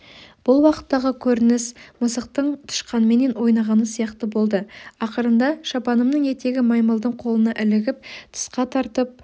бұл уақыттағы көрініс мысықтың тышқанменен ойнағаны сияқты болды ақырында шапанымның етегі маймылдың қолына ілігіп тысқа тартып